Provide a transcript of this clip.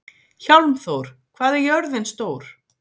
Hjálmþór, hvað er jörðin stór?